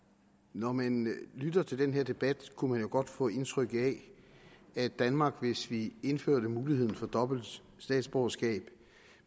når man lytter til den her debat kunne man godt få indtryk af at danmark hvis vi indførte muligheden for dobbelt statsborgerskab